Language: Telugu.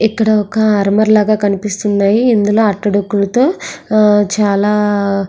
ఇక్కడ ఒక ఆల్మర లాగా కనిపిస్తుంది. ఇందులోని అట్ట డొక్కులతో చాలా --